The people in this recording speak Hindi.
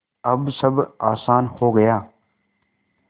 अब सब आसान हो गया